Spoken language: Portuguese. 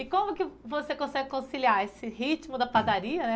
E como que você consegue conciliar esse ritmo da padaria, né?